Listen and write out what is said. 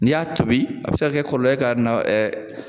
N y'a tobi a bi se kɛ ka kɔlɔlɔ ye ka na